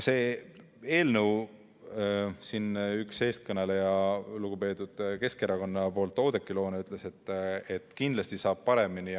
Eelnõu üks eestkõnelejaid lugupeetud Keskerakonna poolt Oudekki Loone ütles, et kindlasti saab paremini.